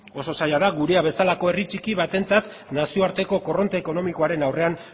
oso zaila da gurea bezalako herri txiki batentzat nazioarteko korronte ekonomikoaren aurrean